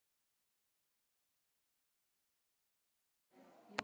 Erum við jafnvel tilbúin að fórna lífi annarra barna?